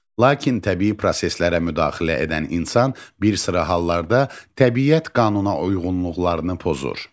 Lakin təbii proseslərə müdaxilə edən insan bir sıra hallarda təbiət qanuna uyğunluqlarını pozur.